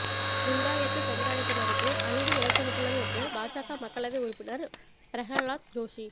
லிங்காயத்து சமுதாயத்தினருக்கு அநீதி இழைக்கப்பட்டுள்ளது என்று பாஜக மக்களவை உறுப்பினர் பிரஹலாத் ஜோஷி